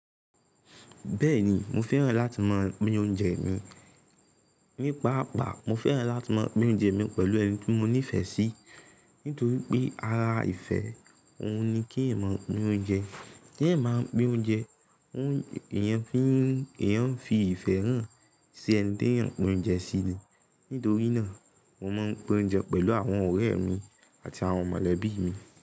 Bẹ́ẹ̀ni mo fẹ́ràn láti má a pin oúnjẹ mi. Nípaàpá mo fẹ́ràn láti má a pin oúnjẹ mi pẹ̀lú ẹni tí mo nífẹ̀ẹ́ sí, nítorí pé ara ìfẹ́ òun ni kí èèyàn máa pin oúnjẹ. Tí èèyàn bá máa pin oúnjẹ, òun èèyàn fín, èèyàn ń fi ìfẹ́ hàn sí ẹni tí èèyàn ń pin oúnjẹ síi. Nítorí náà mo máa ń pin oúnjẹ pẹ̀lú àwọn ọ̀rẹ́ mi àti àwọn mọ̀lẹ́bí mi.